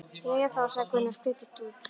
Jæja þá, sagði Gunni og skreiddist út.